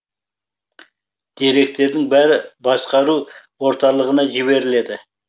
деректердің бәрі басқару орталығына жіберіледі